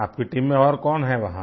आपकी टीम में और कौन है वहाँ